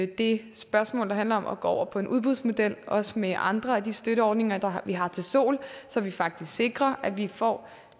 det spørgsmål der handler om at gå over på en udbudsmodel også med hensyn til andre af de støtteordninger vi har til sol så vi faktisk sikrer at vi får